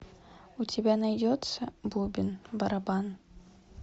у тебя найдется бубен барабан